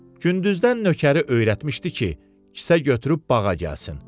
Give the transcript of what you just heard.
Gündüzdən nökəri öyrətmişdi ki, kisə götürüb bağa gəlsin.